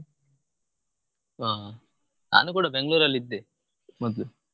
ಹಾ ನಾನು ಕೂಡ Bangalore ಅಲ್ ಇದ್ದೆ ಮೊದ್ಲು.